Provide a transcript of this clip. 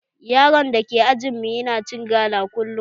Yaron da ke ajin mu yana cin gala kullum